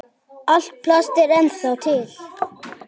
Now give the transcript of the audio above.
Allt plast er ennþá til.